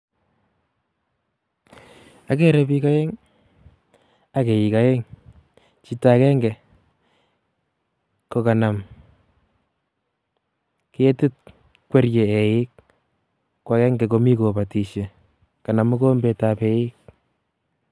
Agere biik aeng', ak eik aeng'. Chito ageng'e kokanam ketit, kwerie eik. Ko ageng'e ko mi kobatishiei. Kanam mogombetab eik.